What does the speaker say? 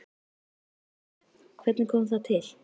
Kristján Már: Hvernig kom það til?